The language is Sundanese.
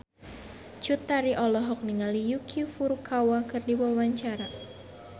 Cut Tari olohok ningali Yuki Furukawa keur diwawancara